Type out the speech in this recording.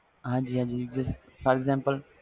ਹਾਜੀ ਹਾਜੀ ਅੱਗੇ for example